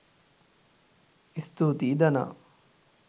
ස්තුතියි ධනා!